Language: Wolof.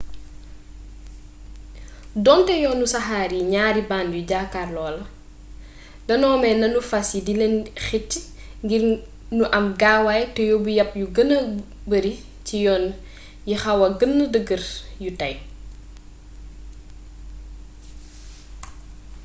doonte yoonu saxaar yi ñaari band yu jàkkarloo la danoo may nanu fas yi di leen xëcc ngir nu am gaawaay te yóbbu yab yu gëna bare cii yoon yixawa gën dëggr yu tey